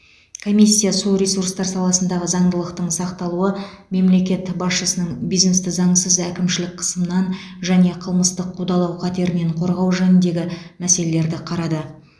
комиссия су ресурстар саласындағы заңдылықтың сақталуы мемлекет басшысының бизнесті заңсыз әкімшілік қысымнан және қылмыстық қудалау қатерінен корғау жөніндегі мәселелерді қарады